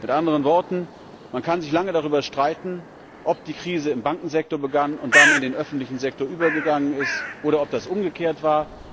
Mit anderen Worten Man kann sich lange darüber streiten, ob die Krise im Bankensektor begann und dann in den öffentlichen Sektor übergegangen ist oder ob das umgekehrt war.